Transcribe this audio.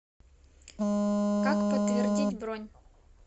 как подтвердить бронь